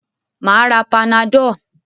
Mà á ra panadol.